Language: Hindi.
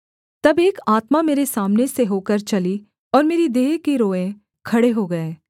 तब एक आत्मा मेरे सामने से होकर चली और मेरी देह के रोएँ खड़े हो गए